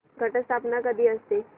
घट स्थापना कधी असते